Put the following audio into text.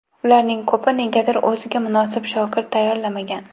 Ularning ko‘pi negadir o‘ziga munosib shogird tayyorlamagan.